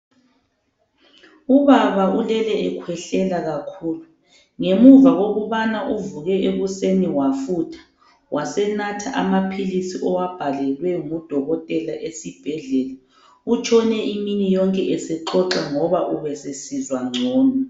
Ubaba ulele ekhwehlela kakhulu ngemuva kokubana uvuke ekuseni wafutha wasenatha amaphilisi owabhalelwe ngudokotela esibhedlela utshone imini yonke esexoxa ngoba ubesesizwa gcono.